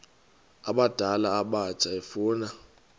abadala abatsha efuna